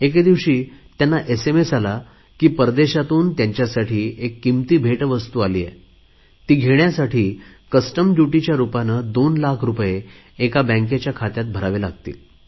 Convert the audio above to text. एके दिवशी त्याला एसएमएस आला की परदेशातून त्यांच्यासाठी एक किमती भेटवस्तू आली आहे ती घेण्यासाठी कस्टम ड्युटीच्या रुपाने 2 लाख रुपये एका बँकेच्या खात्यात भरावे लागतील